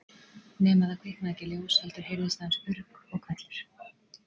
Nema það kviknaði ekki ljós heldur heyrðist aðeins urg og hvellur.